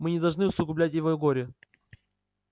мы не должны усугублять его горе